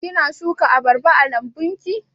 Kina shuka abarba a lambun ki?